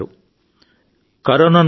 మనందరం మీ సహాయంతో బయటపడతాం సార్